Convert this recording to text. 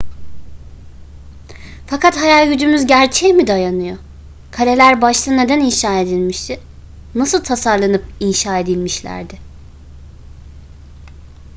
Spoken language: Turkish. fakat hayal gücümüz gerçeğe mi dayanıyor kaleler başta neden inşa edilmişti nasıl tasarlanıp inşa edilmişlerdi